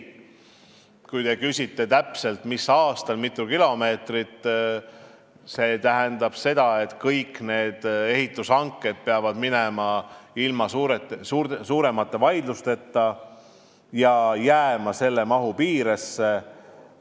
Kui te küsite, mis aastal täpselt kui mitu kilomeetrit ehitatakse, siis tuletan meelde, et sel juhul peavad kõik ehitushanked minema ilma suuremate vaidlusteta ja jääma mahu piiresse.